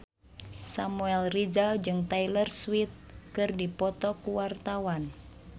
Samuel Rizal jeung Taylor Swift keur dipoto ku wartawan